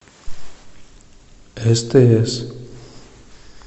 стс